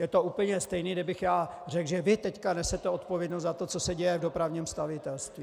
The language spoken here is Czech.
Je to úplně stejné, kdybych já řekl, že vy teď nesete odpovědnost za to, co se děje v dopravním stavitelství.